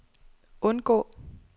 undgå